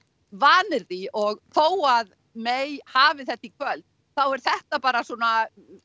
vanir því og þó að May hafi þetta í kvöld þá er þetta bara svona